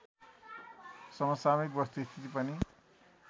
समसामयिक वस्तुस्थिति पनि